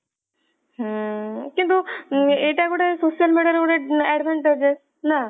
ହୁଁ କିନ୍ତୁ ଏଇଟା ଗୋଟେ social media ରେ ଗୋଟେ advantages ନା